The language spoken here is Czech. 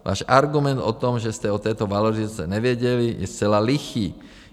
Váš argument o tom, že jste o této valorizaci nevěděli, je zcela lichý.